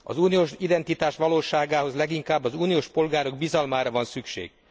Az uniós identitás valóságához leginkább az uniós polgárok bizalmára van szükség.